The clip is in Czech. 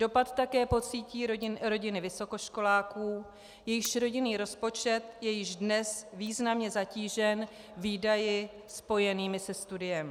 Dopad také pocítí rodiny vysokoškoláků, jejichž rodinný rozpočet je již dnes významně zatížen výdaji spojenými se studiem.